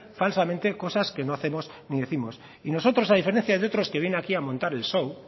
falsamente cosas que no hacemos ni décimos y nosotros a diferencia de otros que vienen aquí a montar el show